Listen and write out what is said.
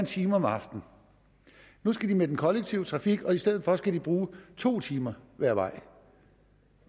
time om aftenen nu skal de med den kollektive trafik og i stedet for skal de bruge to timer hver vej